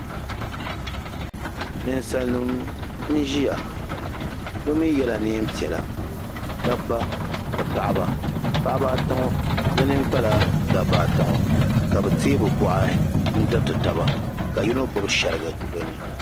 ninsalinima n-ʒiya bɛ mi yela neen' piɛla dabba ni paɣaba paɣaba ata ŋɔ bɛ nini kpala dabba ata ŋɔ ka bɛ teei bɛ bɔɣari n-tiriti taba ka yino gbubi shiriga bɛ ni.